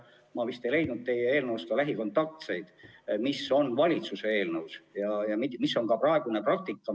Ma vist ei leidnud teie eelnõust lähikontaktseid, kuid valitsuse eelnõus on need olemas ja see on ka praegune praktika.